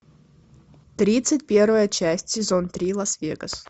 тридцать первая часть сезон три лас вегас